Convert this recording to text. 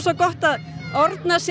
gott að orna sér